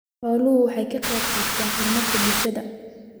Xooluhu waxay ka qaybqaataan horumarka bulshada.